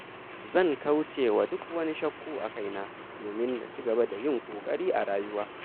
Zan kaucewa duk wani shakku a kaina domin na ci gaba da yin ƙoƙari a rayuwa.